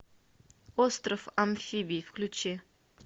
остров амфибий включи